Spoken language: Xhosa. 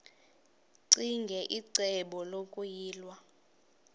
ccinge icebo lokuyilwa